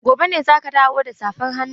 Gobe ne za ki dawo da safar hannun?